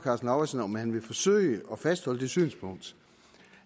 lauritzen om han vil forsøge at fastholde det synspunkt